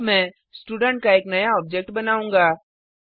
अब मैं स्टूडेंट का एक अन्य ऑब्जेक्ट बनाऊँगा